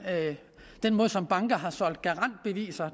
den måde som banker har solgt garantbeviser